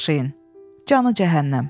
Canı cəhənnəm.